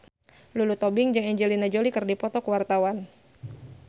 Lulu Tobing jeung Angelina Jolie keur dipoto ku wartawan